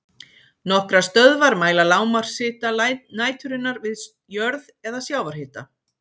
Nokkrar stöðvar mæla lágmarkshita næturinnar við jörð eða sjávarhita.